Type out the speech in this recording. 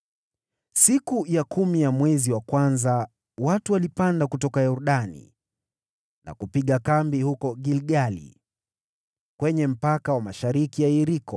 Siku ya kumi ya mwezi wa kwanza watu walipanda kutoka Yordani na kupiga kambi huko Gilgali, kwenye mpaka wa mashariki ya Yeriko.